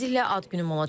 Tezliklə ad günüm olacaq.